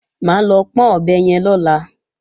Mà á lọ pọ́n ọ̀bẹ yẹn lọ́la